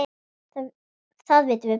Það vitum við bæði.